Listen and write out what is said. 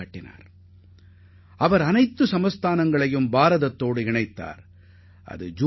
நாட்டில் இருந்த அனைத்து சமஸ்தானங்களும் ஒன்றுபட்ட இந்தியாவுடன் இணைவதை அவர் உறுதிசெய்தார்